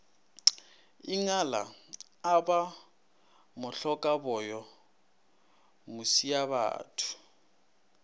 ingala a ba mohlokaboyo mošiabatho